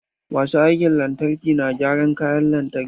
Masu aikin lantarki na gyaran kayan lantarki.